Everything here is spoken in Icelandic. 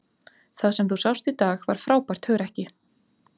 Það sem þú sást í dag var frábært hugrekki.